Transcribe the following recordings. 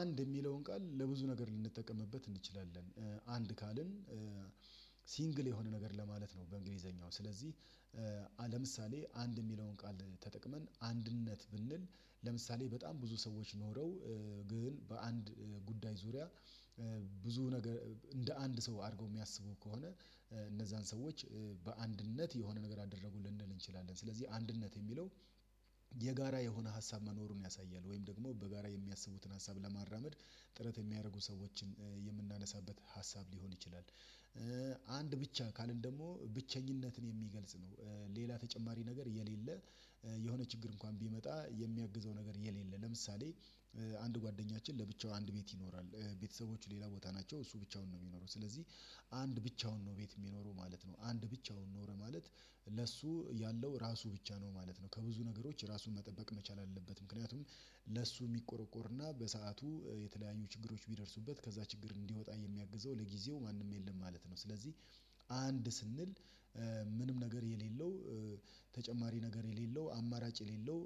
አንድ የሚለውን ቃል ለብዙ ነገር ልንጠቀምበት እንችላለን። አንድ ካልን ሲንግል የሆነ ነገር ለማለት ነው። በእንግሊዘኛው ስለዚህ። ለምሳሌ አንድ የሚለውን ቃል ተጠቅመን አንድነት ብንል ለምሳሌ በጣም ብዙ ሰዎች ኖረው። ግን በአንድ ጉዳይ ዙሪያ ብዙ ነገር እንደ አንድ ሰው አድርገው የሚያስቡ ከሆነ። እነዛን ሰዎች በአንድነት የሆነ ነገር አደረጉ ልንል እንችላለን ስለዚህ አንድነት የሚለው። የጋራ የሆነ ሀሳብ መኖሩን ያሳያል ወይም ደግሞ በጋራ የሚያስቡትን ሀሳብ ለማራመድ ጥረት የሚያደርጉ ሰዎችን የምናነሳበት ሀሳብ ሊሆን ይችላል። አንድ ብቻ ካልን ደግሞ ብቸኝነትን የሚገልጽ ነው። ሌላ ተጨማሪ ነገር የሌለ የሆነ ችግር እንኳን ቢመጣ የሚያግዘው ነገር የሌለ ለምሳሌ አንድ ጓደኛችን ለብቻው አንድ ቤት ይኖራል። ቤተሰቦች ሌላ ቦታ ናቸው እሱ ብቻውን ነው የሚኖረው ስለዚህ። አንድ ብቻውን ነው ቤት የሚኖረው ማለት ነው አንድ ብቻውን ኖረ ማለት ለእሱ ያለው ራሱ ብቻ ነው ማለት ነው። ከብዙ ነገሮች ራሱን መጠበቅ መቻል አለበት ምክንያቱም ለሱ የሚቆረቆርና በሰአቱ የተለያዩ ችግሮች ቢደርሱበት ከዛ ችግር እንዲወጣ የሚያግዘው ለጊዜው ማንም የለም ማለት ነው። ስለዚህ አንድ ስንል ምንም ነገር የሌለው ተጨማሪ ነገር የሌለው አማራጭ የሌለው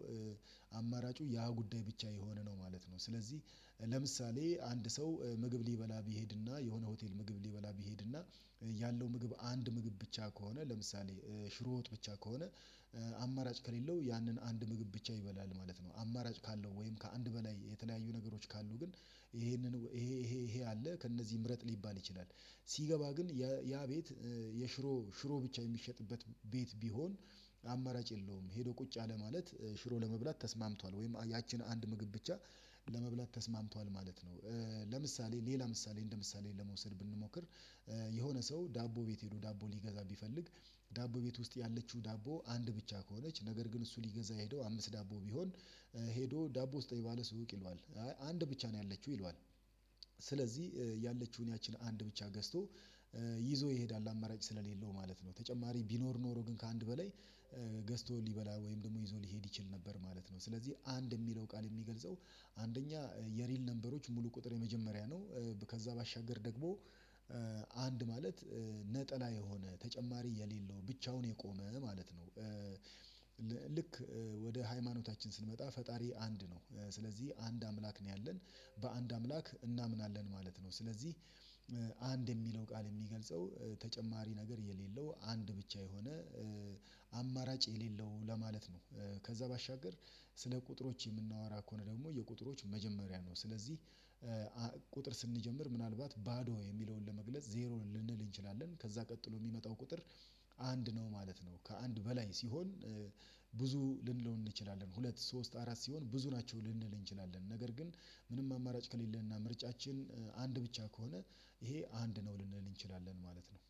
አማራጩ ያ ጉዳይ ብቻ የሆነ ነው ማለት ነው። ስለዚህ ለምሳሌ አንድ ሰው ምግብ ሊበላ ቢሄድና የሆነ ሆቴል ምግብ ሊበላ ቢሄድና ያለው ምግብ አንድ ምግብ ብቻ ከሆነ ለምሳሌ ሽሮ ወጥ ብቻ ከሆነ። አማራጭ ከሌለው ያንን አንድ ምግብ ብቻ ይበላል ማለት ነው አማራጭ ካለው ወይም ከአንድ በላይ የተለያዩ ነገሮች ካሉ ግን ይሄንን ይሄ ይሄ ይሄ አለ ከእነዚህ ምረጥ ሊባል ይችላል። ሲገባ ግን ያ ቤት የሽሮ ሽሮ ብቻ የሚሸጥበት ቤት ቢሆን አማራጭ የለውም ሄዶ ቁጭ አለ ማለት ሽሮ ለመብላት ተስማምቷል ወይም ያቺን አንድ ምግብ ብቻ ለመብላት ተስማምቷል ማለት ነው። ለምሳሌ ሌላ ምሳሌ እንደ ምሳሌ ለመውሰድ ብንሞክር የሆነ ሰው ዳቦ ቤት ሄዶ ዳቦ ሊገዛ ቢፈልግ ዳቦ ቤት ውስጥ ያለችው ዳቦ አንድ ብቻ ከሆነች ነገር ግን እሱ ሊገዛ ሄደው አምስት ዳቦ ቢሆን። ሄዶ ዳቦ ስጠኝ ባለ ሱቅ ይለዋል አይ አንድ ብቻ ነው ያለችው ይለዋል። ስለዚህ ያለችውን ያቺን አንድ ብቻ ገዝቶ ይዞ ይሄዳል አማራጭ ስለሌለው ማለት ነው። ተጨማሪ ቢኖር ኖሮ ግን ከአንድ በላይ ገዝቶ ሊበላ ወይም ደግሞ ይዞ ሊሄድ ይችል ነበር ማለት ነው። ስለዚህ አንድ የሚለው ቃል የሚገልጸው አንደኛ የሪል ነበሮች ሙሉ ቁጥር የመጀመሪያ ነው። ከዛ ባሻገር ደግሞ አንድ ማለት ነጠላ የሆነ ተጨማሪ የሌለው ብቻውን የቆመ ማለት ነው። ልክ ወደ ሃይማኖታችን ስንመጣ ፈጣሪ አንድ ነው ስለዚህ አንድ አምላክ ነው ያለን በአንድ አምላክ እናምናለን ማለት ነው። ስለዚህ አንድ የሚለው ቃል የሚገልጸው ተጨማሪ ነገር የሌለው አንድ ብቻ የሆነ አማራጭ የሌለው ለማለት ነው። ከዛ ባሻገር ስለ ቁጥሮች የምናወራ ከሆነ ደግሞ የቁጥሮች መጀመሪያ ነው ስለዚህ። ቁጥር ስንጀምር ምናልባት ባዶ የሚለውን ለመግለጽ ዜሮን ልንል እንችላለን ከዛ ቀጥሎ የሚመጣው ቁጥር አንድ ነው ማለት ነው። ከአንድ በላይ ሲሆን ብዙ ልንለው እንችላለን ሁለት ሶስት አራት ሲሆን ብዙ ናቸው ልንል እንችላለን። ነገር ግን ምንም አማራጭ ከሌለንና ምርጫችን አንድ ብቻ ከሆነ ይሄ አንድ ነው ልንል እንችላለን ማለት ነው